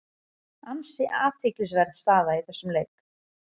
Ansi athyglisverð staða í þessum leik.